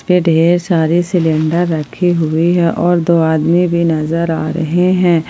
ये ढेर सारे सिलेंडर रखे हुए हैं और दो आदमी भी नजर आ रहे हैं।